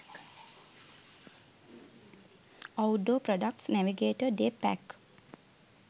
outdoor products navigator day pack